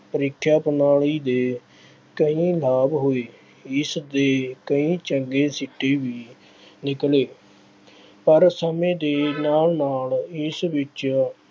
ਪ੍ਰੀਖਿਆ ਪ੍ਰਣਾਲੀ ਦੇ ਕਈ ਲਾਭ ਹੋਏ। ਇਸਦੇ ਕਈ ਚੰਗੇ ਸਿੱਟੇ ਵੀ ਨਿਕਲੇ ਪਰ ਸਮੇਂ ਦੇ ਨਾਲ ਨਾਲ ਇਸ ਵਿੱਚ